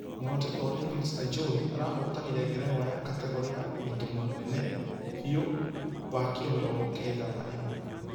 Mũhotani wa Olympics ajowi arahotanire ngerenwa ya ....kategore ya ũritũ mũnene biũ wa kiro mĩrongo kenda na ĩmwe.